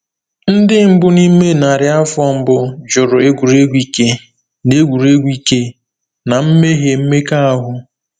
Ndị mbụ n’ime narị afọ mbụ jụrụ egwuregwu ike na egwuregwu ike na mmehie mmekọahụ.